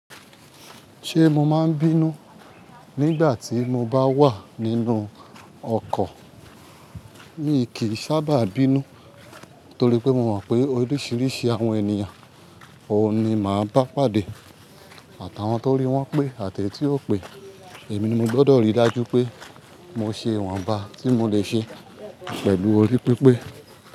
Ṣé mo ma bínú, nígbà tí mo bá wà nínú ọkọ̀. Mi kì í sábà bínú torí pé mo mọ̀ pé oríṣiríṣi àwọn ènìyàn oo ni màá bá pàdé àti àwọn tó rí wọ́n pé àti èyí tí ó pé. Èmi ni mo gbọdọ̀ rí dá jú pé, mo ṣe ìwọ̀nba tí mo lè ṣe pẹ̀lú orí pípé.